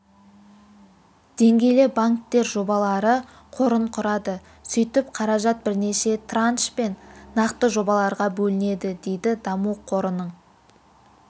деңгейлі банктер жобалары қорын құрады сөйтіп қаражат бірнеше траншпен нақты жобаларға бөлінеді дейді даму қорының